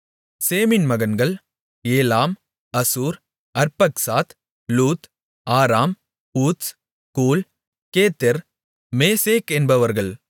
சேமின் மகன்கள் ஏலாம் அசூர் அர்பக்சாத் லூத் ஆராம் ஊத்ஸ் கூல் கேத்தெர் மேசேக் என்பவர்கள்